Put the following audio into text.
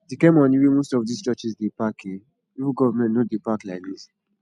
the kyn money wey most of dis churches dey pack eh even government no dey pack like dis